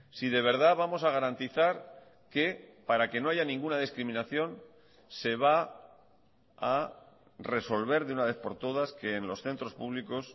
si de verdad vamos a garantizar que para que no haya ninguna discriminación se va a resolver de una vez por todas que en los centros públicos